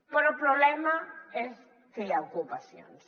però el problema és que hi ha ocupacions